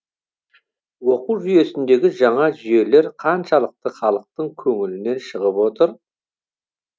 оқу жүйесіндегі жаңа жүйелер қаншалықты халықтың көңілінен шығып отыр